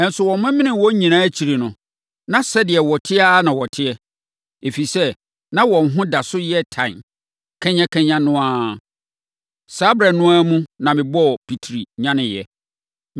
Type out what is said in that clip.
Nanso wɔmemenee wɔn nyinaa akyiri no, na sɛdeɛ wɔte ara na wɔte, ɛfiri sɛ, na wɔn ho da so yɛ tan kanyakanya no ara. Saa ɛberɛ no ara mu na mebɔɔ pitiri nyaneeɛ.